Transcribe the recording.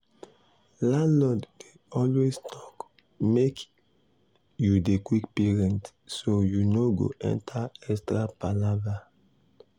landlord dey always talk make you dey quick pay rent so you no go enter extra palava.